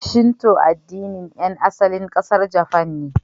Shinto addinin ƴan asalin ƙasar Japan ne.